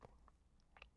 DR1